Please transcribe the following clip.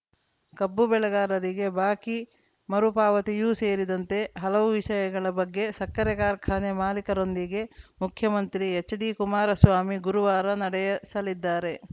ಕಬ್ಬು ಬೆಳೆಗಾರರಿಗೆ ಬಾಕಿ ಮರುಪಾವತಿಯೂ ಸೇರಿದಂತೆ ಹಲವು ವಿಷಯಗಳ ಬಗ್ಗೆ ಸಕ್ಕರೆ ಕಾರ್ಖಾನೆ ಮಾಲಿಕರೊಂದಿಗೆ ಮುಖ್ಯಮಂತ್ರಿ ಎಚ್‌ಡಿಕುಮಾರಸ್ವಾಮಿ ಗುರುವಾರ ನಡೆಯಸಲಿದ್ದಾರೆ